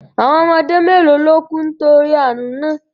Àwọn ọmọdé mélòó ló kú nítorí àrùn náà